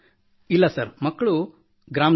ಇಲ್ಲ ಸರ್ ಮಕ್ಕಳು ಗ್ರಾಮದಲ್ಲಿರುತ್ತಾರೆ